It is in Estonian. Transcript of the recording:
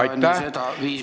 Aitäh!